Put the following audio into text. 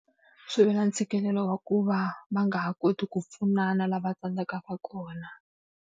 Swi vula ntshikelelo wa ku va va nga ha koti ku pfunana lava tsandzekaka kona.